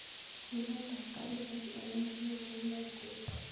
Chilet ab garishek en ohio kounee nguni